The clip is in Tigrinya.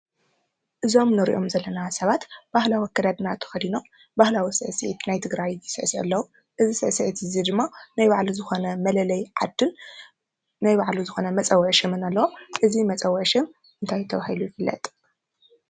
እዞም ንሪኦም ዘለና ሰባት ባህላዊ ኣከዳድና ተኸዲኖም ባህላዊ ስዕሲዒት ናይ ትግራይ ዝስዕስዑ ኣለዉ፡፡ እዚ ስዕሲዒት እዝዚ ድማ ናይ ባዕሉ ዝኾነ መለለይ ዓድን ናይ ባዕሉ ዝኾነ መፀውዒ ሽምን ኣለዎ፡፡ እዙይ መፀውዒ ሽም እንታይ ተባሂሉ ይፍለጥ?